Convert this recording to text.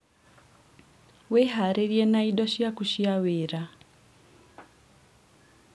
wĩharĩrie na indo ciaku cia wĩra